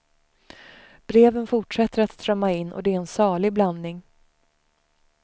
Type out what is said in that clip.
Breven fortsätter att strömma in och det är en salig blandning.